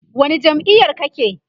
wani jam'iyar kake?